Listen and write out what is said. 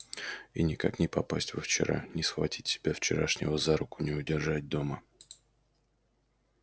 и никак не попасть во вчера не схватить себя вчерашнего за руку не удержать дома